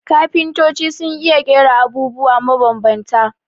Kafintoci sun iya ƙera abubwa mabambanta